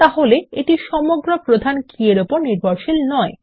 তাহলে এটি সমগ্র প্রধান কী এর উপর নির্ভরশীল নয়